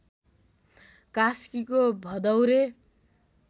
कास्कीको भदौरे